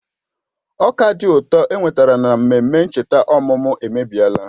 Ọka dị ụtọ enwetara na mmemme ncheta ọmụmụ emebiela